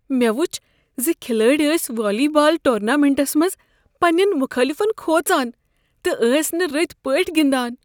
مےٚ وچھ زِ کھلٲڑۍ ٲسۍ والی بال ٹورنامنٹس منٛز پننین مخٲلفن کھوژان تہٕ ٲسۍ نہٕ رٕتۍ پٲٹھۍ گنٛدان۔